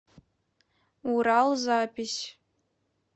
урал запись